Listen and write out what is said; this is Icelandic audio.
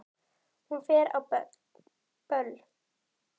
Hún fer á böll!